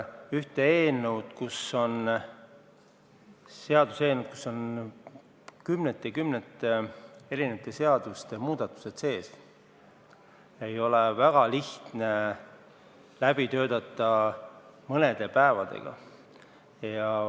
Ühte seaduseelnõu, kus on sees kümnete erinevate seaduste muudatused, ei ole väga lihtne mõne päevaga läbi töötada.